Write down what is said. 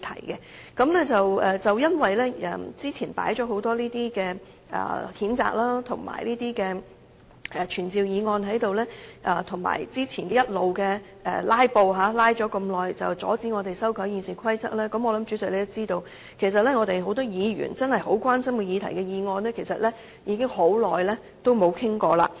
由於早前議程上放上了許多這類譴責和傳召議案，以及早前不斷"拉布"——因為要阻止我們修改《議事規則》而"拉"了很久——我相信主席也知道，有很多議員真正關心的議題的議案已很久未作討論。